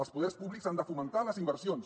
els poders públics han de fomentar les inversions